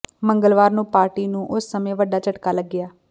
ਮੰਗਲਵਾਰ ਨੂੰ ਪਾਰਟੀ ਨੂੰ ਉਸ ਸਮੇਂ ਵੱਡਾ ਝਟਕਾ ਲੱਗਿਆ